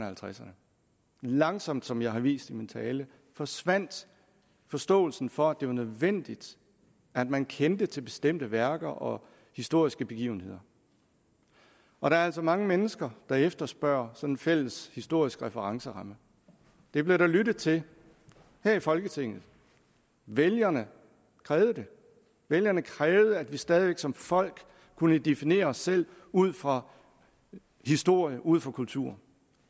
halvtredserne langsomt som jeg har vist i min tale forsvandt forståelsen for at det var nødvendigt at man kendte til bestemte værker og historiske begivenheder og der er altså mange mennesker der efterspørger sådan en fælles historisk referenceramme det blev der lyttet til her i folketinget vælgerne krævede det vælgerne krævede at vi stadig væk som folk kunne definere os selv ud fra historie ud fra kultur